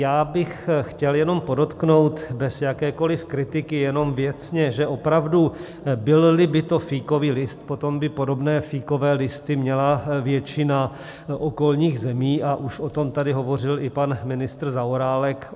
Já bych chtěl jenom podotknout, bez jakékoliv kritiky, jenom věcně, že opravdu byl-li by to fíkový list, potom by podobné fíkové listy měla většina okolních zemí, už o tom tady hovořil i pan ministr Zaorálek.